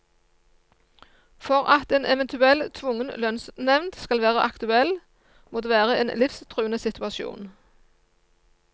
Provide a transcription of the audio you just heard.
For at en eventuell tvungen lønnsnevnd skal være aktuell, må det være en livstruende situasjon.